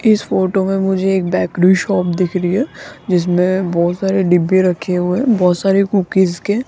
इस फोटो में मुझे एक बेकरी शॉप दिख रही है जिसमें बहुत सारे डब्बे रखे हुए बहुत सारे कुकीज के --